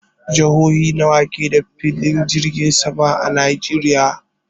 Jihohi nawa ke da filin jirgin sama a Najeriya?